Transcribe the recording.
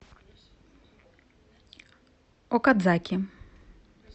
окадзаки